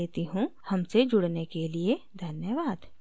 I I T Bombay से मैं श्रुति आर्य आपसे विदा लेती हूँ हमसे जुड़ने के लिए धन्यवाद